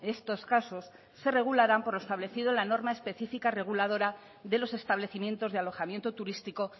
estos casos se regularán por establecido en la norma específica reguladora de los establecimientos de alojamiento turístico